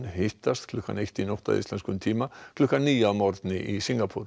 hittast klukkan eitt í nótt að íslenskum tíma klukkan níu að morgni í Singapúr